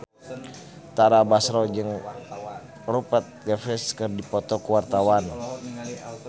Tara Basro jeung Rupert Graves keur dipoto ku wartawan